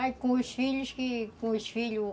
Ai, com os filhos que... com os filhos...